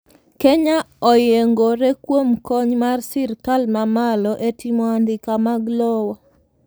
Kenya oyiengore kuom kony mar sirkal mamalo e timo andika mag lowo